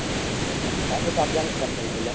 ତା ସହିତ afganistani ଖେଳୁଥିଲେ